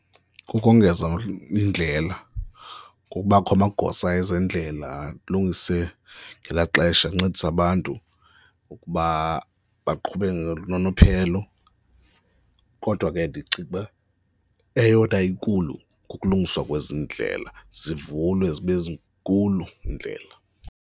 Kukongeza indlela, kubakho amagosa ezendlela alungise ngelaa xesha ancedise abantu ukuba baqhube ngononophelo kodwa ke ndicinga uba eyona inkulu kukulungiswa kwezi ndlela, zivulwe zibe zinkulu iindlela.